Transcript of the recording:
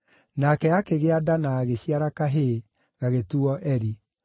nake akĩgĩa nda na agĩciara kahĩĩ, gagĩtuuo Eri.